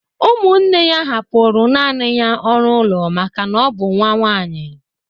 Ụmụnne ya hapụrụ naanị ya ọrụ ụlọ maka na ọ bụ nwa nwanyị